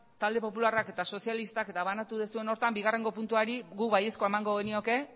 talde popularrak eta sozialistak banatu duzuen horretan bigarrengo puntuari guk baiezkoa emango genioke